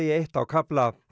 eitt á kafla